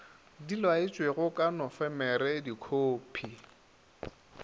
di laetšwego ka nofemere dikhophi